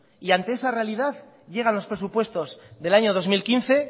y ante esa realidad llegan los presupuestos del año dos mil quince